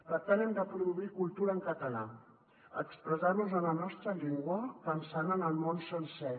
per tant hem de produir cultura en català expressar·nos en la nostra llengua pensant en el món sencer